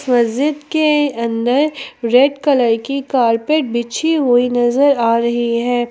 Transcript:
मस्जिद के अंदर रेड कलर की कारपेट बिछी हुई नजर आ रही है।